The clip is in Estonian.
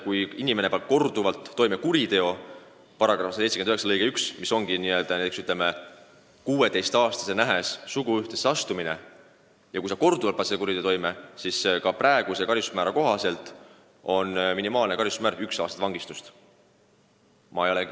Kui inimene paneb korduvalt toime kuriteo, mille kohta käib § 179 lõige 1, kus on kirjas näiteks ka 16-aastase nähes suguühtesse astumine, siis praeguse seaduse kohaselt on minimaalne karistusmäär üks aasta vangistust.